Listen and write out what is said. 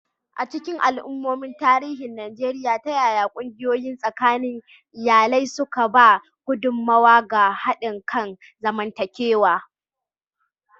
A cikin al'ummomin tarihin Najeriya, ta yaya ƙungiyoyi tsakanin iyalai suka ba da gudummawa ga haɗin kan zamantakewa?